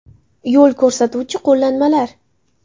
Yo‘l ko‘rsatuvchi qo‘llanmalar.